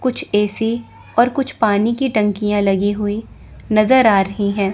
कुछ ए_सी और कुछ पानी की टंकियां लगी हुई नजर आ रही हैं।